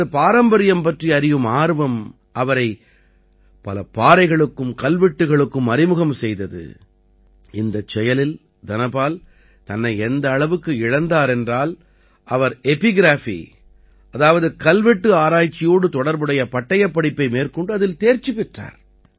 தனது பாரம்பரியம் பற்றி அறியும் ஆர்வம் அவரை பல பாறைகளுக்கும் கல்வெட்டுகளுக்கும் அறிமுகம் செய்தது இந்தச் செயலில் தனபால் தன்னை எந்த அளவுக்கு இழந்தார் என்றால் அவர் எபிகிராஃபி அதாவது கல்வெட்டு ஆராய்ச்சியோடு தொடர்புடைய பட்டயப்படிப்பை மேற்கொண்டு அதில் தேர்ச்சி பெற்றார்